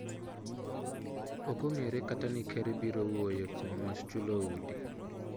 Okon'gere kata ni ker biro wuoye kuom wach chulo udi.